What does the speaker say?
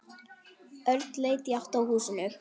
Örn leit í átt að húsinu.